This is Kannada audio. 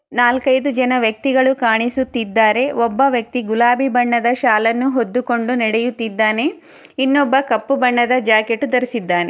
ನಾಲ್ಕೂ ಐದು ಜನ ವ್ಯಕ್ತಿಗಳೂ ಕಾಣಿಸುತ್ತಿದ್ದಾರೆ ಒಬ್ಬವ್ಯಕ್ತಿ ಗುಲಾಬಿ ಬಣ್ಣದ ಶಾಲ್ಲನು ಹುದುಕೊಂಡು ನಡೆಯುತಿದ್ದಾನೆ ಇನೂಬ್ಬ ಕಪ್ಪೊ ಬಣ್ಣದ ಜಾಕೆಟು ಧರಿಸಿದ್ದಾನೆ